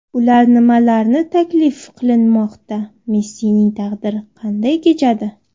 Ular nimalarni taklif qilinmoqda, Messining taqdiri qanday kechadi?